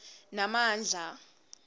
namandla